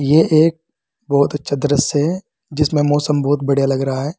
ये एक बहुत अच्छा दृश्य है जिसमें मौसम बहुत बढ़िया लग रहा है।